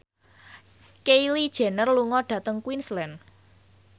Kylie Jenner lunga dhateng Queensland